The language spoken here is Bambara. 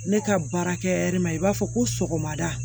Ne ka baara kɛ ma i b'a fɔ ko sɔgɔmada